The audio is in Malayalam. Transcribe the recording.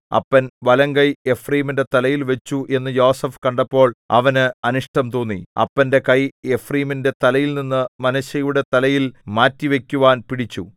അപ്പൻ വലംകൈ എഫ്രയീമിന്റെ തലയിൽവച്ചു എന്നു യോസേഫ് കണ്ടപ്പോൾ അവന് അനിഷ്ടം തോന്നി അപ്പന്റെ കൈ എഫ്രയീമിന്റെ തലയിൽനിന്നു മനശ്ശെയുടെ തലയിൽ മാറ്റിവയ്ക്കുവാൻ പിടിച്ചു